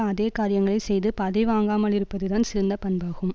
அதே காரியங்களை செய்து பதி வாங்காமலிருப்பதுதான் சிறந்த பண்பாகும்